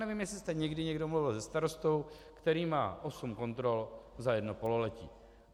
Nevím, jestli jste někdo někdy mluvil se starostou, který má osm kontrol za jedno pololetí.